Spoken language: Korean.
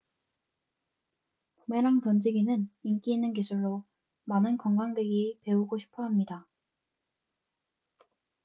부메랑 던지기는 인기 있는 기술로 많은 관광객이 배우고 싶어 합니다